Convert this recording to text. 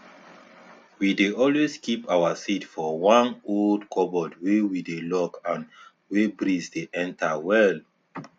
we dey always keep all our seed for one old cupboard wey we dey lock and wey breeze dey enter well